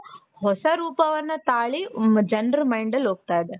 ಹೊಸ ರೂಪವನ್ನ ತಾಳಿ ಮ್ ಜನರ mindಅಲ್ಲಿ ಹೋಗ್ತಾ ಇದೆ .